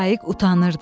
Şaiq utanırdı.